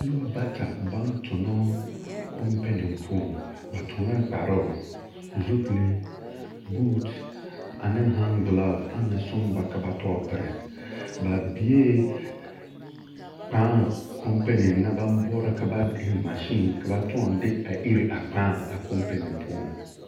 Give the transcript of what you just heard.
Nobɔ bata baŋ tonɔɔ kompene poɔŋ. Ba toŋɛɛ kparoo, zupilii, buut ane han-gelaafo aŋ na soŋ ba ka ba tɔɔ pere. Ba biee kpãã kompene na baŋ boɔrɔ ka ba eŋ mansiin ka ba tõɔ de a ir a kpãã a kompene poɔŋ.